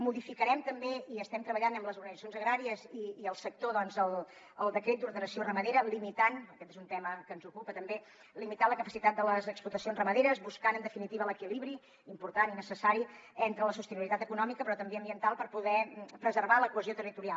modificarem també hi estem treballant amb les organitzacions agràries i el sector el decret d’ordenació ramadera limitant aquest és un tema que ens ocupa també la capacitat de les explotacions ramaderes buscant en definitiva l’equilibri important i necessari entre la sostenibilitat econòmica però també ambiental per poder preservar la cohesió territorial